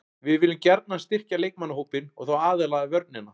Við viljum gjarnan styrkja leikmannahópinn og þá aðallega vörnina.